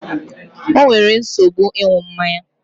O nwere nsogbu ịṅụ mmanya